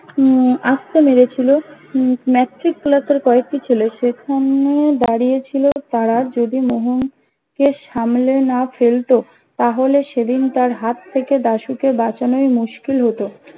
উম আস্তে মেরেছিলো উম ম্যাটট্রিক ক্লাস এর কয়েকটি ছেলে সে সেখানে দাঁড়িয়ে ছিলো তারা যদি মোহনকে সামলে না ফেলতো তাহলে সেদিন তার হাত থেকে দাশুকে বাঁচানোই মুস্কিল হতো